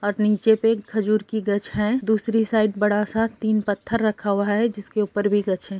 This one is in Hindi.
और नीचे पे एक खजूर का गछ है दूसरी साइड बड़ा सा तीन पत्थर रखा हुआ है जिसके ऊपर भी गछ है।